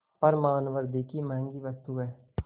पर मानवृद्वि की महँगी वस्तु है